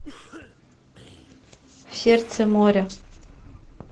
сердце моря